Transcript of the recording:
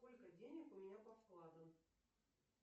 сколько денег у меня по вкладам